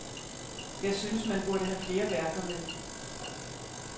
Jeg synes, man burde have flere værker med.